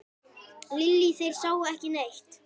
Lillý: Þeir sáu ekki neitt?